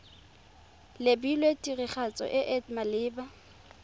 lebilwe tiragatso e e maleba